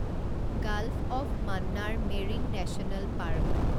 gulf of Mannar marine national park